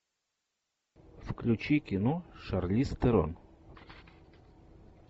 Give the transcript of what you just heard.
включи кино шарлиз терон